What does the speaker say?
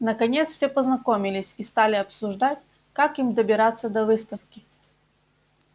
наконец все познакомились и стали обсуждать как им добираться до выставки